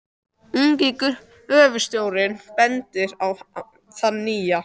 Ungi gröfustjórinn bendir á þann nýja.